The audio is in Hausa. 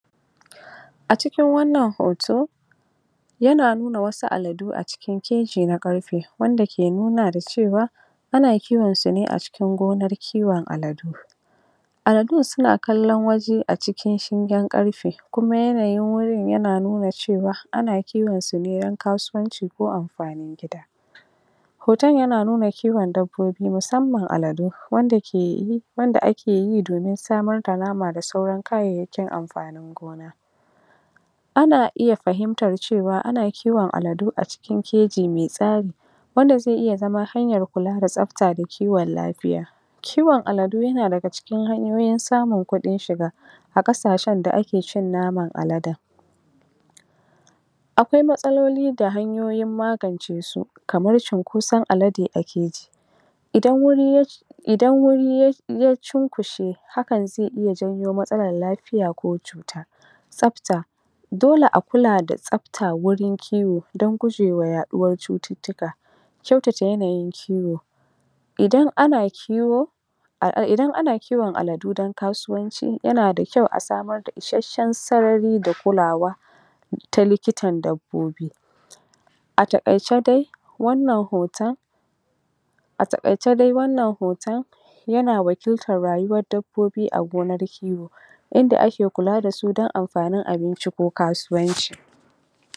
A cikin wannan hoto yana nuna wasu aladu acikin keji na ƙarfe, wanda ke nuna da cewa ana kiwonsa ne a cikin gonar kiwon aladu aladun suna kallon waje a cikin shingen ƙarfe kuma yanayin wajen yana nuna cewa ana kiwonsu ne don kasuwanci ko amfanin gida hoton yana nuna kiwon dabbobi musammman aladu, wanda akeyi domin samar da nama da sauran kayayyakin amfanin gona ana iya fahimtar cewa ana kiwon aladu a cikin keji mai tsari wanda zai iya zama hanyar kula da tsafta da kiwon lafiya kiwon aladu yana daga cikin samun hanyoyin kuɗin shiga a ƙasashen da ake cin naman aladen akwai matsaloli da hanyoyin magance su kamar cunkoson alade akeji idan wuri yake idan wuri ya cunkushe, hakan zai iya janyo matsalar lafiya ko cuta tsafta dole a kula da tsafta wurin kiwo don gujewa yaɗuwar cututtuka kyautata yanayin kiwo idan ana kiwo idan ana kiwon aladu don kasuwanci yanada kyau a samr da ishasshen sarari da kulawa ta likitan dabbobi a taƙaice dai wannan hoton a taƙaiceda wannan hoton yana wakiltar rayuwar dabbobi a gonar kiwo yadda ake kula dasu don amfanin abinci ko kasuwanci